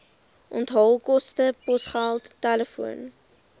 onthaalkoste posgeld telefoon